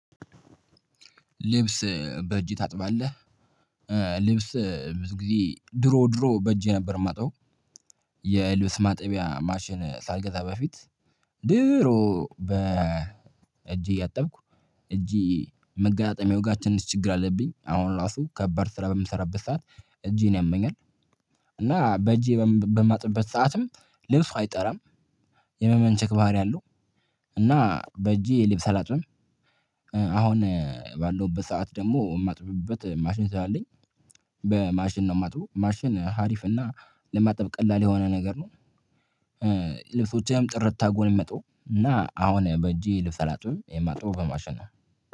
ልብስ በእጅ ታጥባለህ ልብስ ብዙ ጊዜ ድሮ ድሮ በእጄ ነበር የማጥበው። የልብስ ማጥቢያ ማሽን ሳልገዛ በፊት። ድሮ በ እጄ እያጠብኩ እጄ መገጣጠሚያው ጋር ትንሽ ችግር አለብኝ አሁን ራሱ ከባድ ስራ በምሰራበት ሰዓት እጄን ያመኛል። እና በእጄ በማጥበት ሰዓትም ልብሱ አይጠራም። የመመንቸክ ባህሪ አለው። እና በእጄ የልብ አላጥብም። አሁን ባለው በሰአት ደግሞ የማጥፍበት ማሽን ስላለኝ። በማሽን ነው የማጥበው ማሽን ሀሪፍ እና ለማጠብ ቀላል የሆነ ነገር ነው። ልብሶችህም ጥርት አድርጎ ነው የሚያጥበው እና አሁን በእጄ ልፈላጡ የማጡ በማሸነፍ